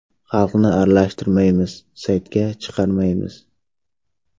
Xalqni aralashtirmaymiz, saytga chiqarmaymiz.